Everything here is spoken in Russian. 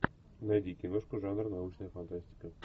найди киношку жанр научная фантастика